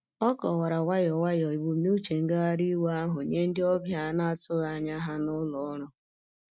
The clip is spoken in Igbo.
O kọwara nwayọ nwayọ ebumnuche ngagharị iwe ahụ nye ndị ọbịa ana-atụghị anya ha na ụlọ ọrụ.